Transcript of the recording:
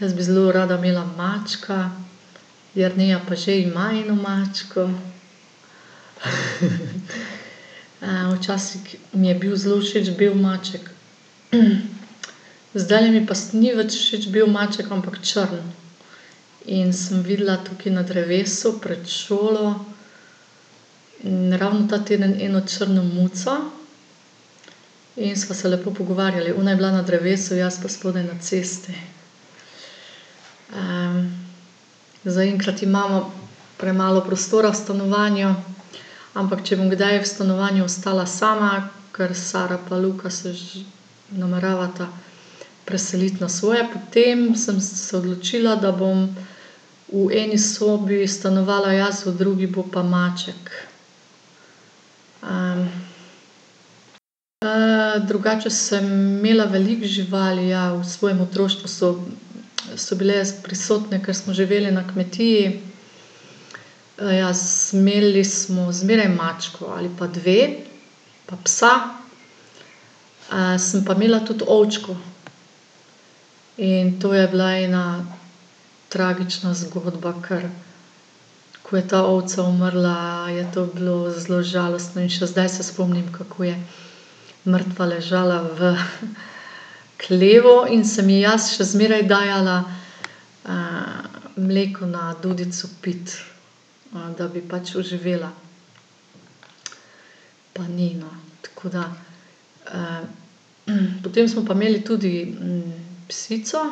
Jaz bi zelo rada imela mačka. Jerneja pa že ima eno mačko. včasih mi je bil zelo všeč bel maček, zdaj mi pa ni več všeč bel maček, ampak črn. In sem videla tukaj na drevesu pred šolo, ravno ta teden eno črno muco in sva se lepo pogovarjali. Ona je bila na drevesu, jaz pa spodaj na cesti. zaenkrat imamo premalo prostora v stanovanju, ampak če bom kdaj v stanovanju ostala sama, ker Sara pa Luka se nameravata preseliti na svoje, potem sem se odločila, da bom v eni sobi stanovala jaz, v drugi bo pa maček. drugače sem imela veliko živali, ja, v svojem otroštvu so, so bile prisotne, ker smo živeli na kmetiji. ja, imeli smo zmeraj mačko ali pa dve. Pa psa. sem pa imela tudi ovčko in to je bila ena tragična zgodba, ker ko je ta ovca umrla, je to bilo zelo žalostno. In še zdaj se spomnim, kako je mrtva ležala v hlevu in sem ji jaz še zmeraj dajala, mleko na dudico piti, da bi pač oživela. Pa ni, no. Tako da, ... potem smo pa imeli tudi, psico,